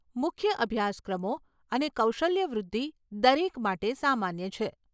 મુખ્ય અભ્યાસક્રમો અને કૌશલ્ય વૃદ્ધિ દરેક માટે સામાન્ય છે.